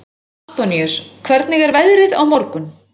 Antoníus, hvernig er veðrið á morgun?